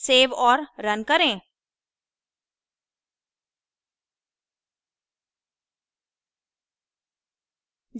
save और run करें